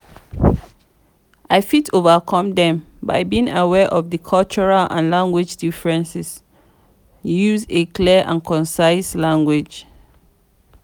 i fit overcome dem by being aware of di cultural and language differences use a clear and concise language.